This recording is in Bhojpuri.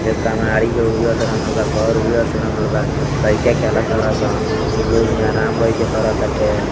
एगो कमाड़ी पे उजर से रंगल बा घर उजर से रंगल बा। लईका खेल ताड़न सन लोग यहाँ आराम बैठ के कर ताटे।